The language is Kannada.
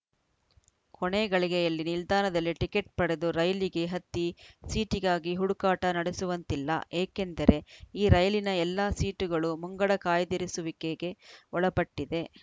ಕೊನೆ ಗಳಿಗೆಯಲ್ಲಿ ನಿಲ್ದಾಣದಲ್ಲಿ ಟಿಕೆಟ್‌ ಪಡೆದು ರೈಲಿಗೆ ಹತ್ತಿ ಸೀಟಿಗಾಗಿ ಹುಡುಕಾಟ ನಡೆಸುವಂತಿಲ್ಲ ಏಕೆಂದರೆ ಈ ರೈಲಿನ ಎಲ್ಲ ಸೀಟುಗಳೂ ಮುಂಗಡ ಕಾಯ್ದಿರಿಸುವಿಕೆಗೆ ಒಳಪಟ್ಟಿದೆ